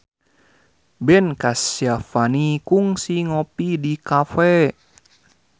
Ben Kasyafani kungsi ngopi di cafe